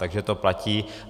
Takže to platí.